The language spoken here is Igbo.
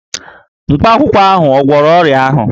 Mkpakwụkwọ ahụ ò gwọrọ ọrịa ahụ?